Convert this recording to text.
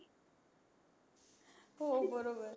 हो बरोबर